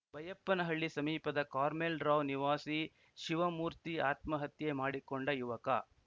ಬೈಯಪ್ಪನಹಳ್ಳಿ ಸಮೀಪದ ಕಾರ್ಮೆಲ್‌ರಾವ್ ನಿವಾಸಿ ಶಿವಮೂರ್ತಿ ಆತ್ಮಹತ್ಯೆ ಮಾಡಿಕೊಂಡ ಯುವಕ